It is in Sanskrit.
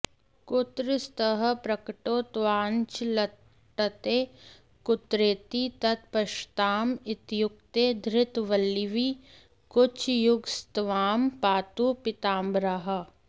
कुत्र स्तः प्रकटौ तवाञ्चलतटे कुत्रेति तत्पश्यतां इत्युक्ते धृतवल्लवीकुचयुगस्त्वां पातु पीताम्बरः